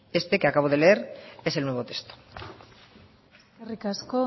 este que acabo de leer es el nuevo texto eskerrik asko